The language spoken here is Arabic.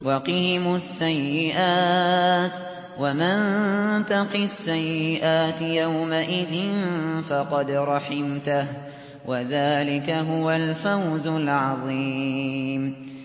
وَقِهِمُ السَّيِّئَاتِ ۚ وَمَن تَقِ السَّيِّئَاتِ يَوْمَئِذٍ فَقَدْ رَحِمْتَهُ ۚ وَذَٰلِكَ هُوَ الْفَوْزُ الْعَظِيمُ